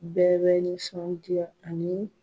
Bɛɛ bɛ nisɔndiya ani